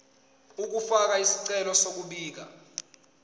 ukufaka isicelo sokubika